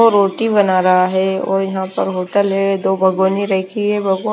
वो रोटी बना रहा है और यहां पर होटल है दो रखी है।